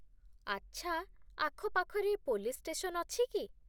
ଆଚ୍ଛା, ଆଖପାଖରେ police station ଅଛି କି?